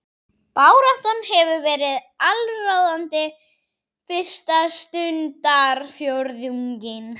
Baráttan hefur verið allsráðandi fyrsta stundarfjórðunginn